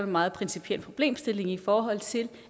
meget principiel problemstilling i forhold til